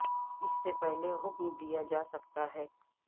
اس سے پہلے میں حکم دیا جا سکتا ہے